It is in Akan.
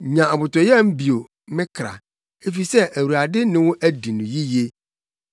Nya abotɔyam bio, me kra, efisɛ Awurade ne wo adi no yiye.